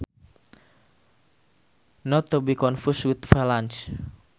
Not to be confused with valance